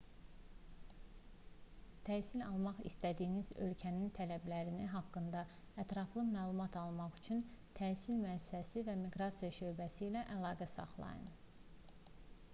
təhsil almaq istədiyiniz ölkənin tələbləri haqqında ətraflı məlumat almaq üçün təhsil müəssisəsi və miqrasiya şöbəsi ilə əlaqə saxlayın